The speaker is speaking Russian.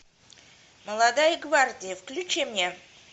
молодая гвардия включи мне